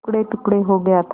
टुकड़ेटुकड़े हो गया था